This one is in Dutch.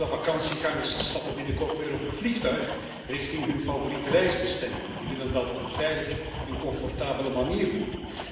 Vele vakantiegangers stappen binnenkort weer op het vliegtuig richting hun favoriete reisbestemming en die willen dat op een veilige en comfortabele manier doen.